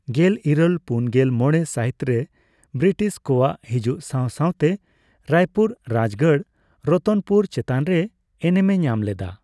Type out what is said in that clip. ᱜᱮᱞᱤᱨᱟᱹᱞ ᱯᱩᱱᱜᱮᱞ ᱢᱚᱲᱮ ᱥᱟᱹᱦᱤᱛᱨᱮ ᱵᱨᱤᱴᱤᱥ ᱠᱚᱣᱟᱜ ᱦᱤᱡᱩᱜ ᱥᱟᱣ ᱥᱟᱣᱛᱮ ᱨᱟᱭᱯᱩᱨ ᱨᱟᱡᱽᱜᱟᱲ ᱨᱚᱛᱚᱱᱯᱩᱨ ᱪᱮᱛᱟᱱᱨᱮ ᱮᱱᱮᱢᱮ ᱧᱟᱢ ᱞᱮᱫᱟ ᱾